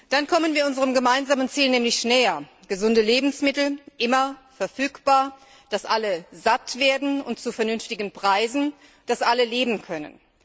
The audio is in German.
Dann kommen wir unserem gemeinsamen Ziel nämlich näher gesunde Lebensmittel, immer verfügbar, dass alle satt werden, und zu vernünftigen Preisen, dass alle leben können.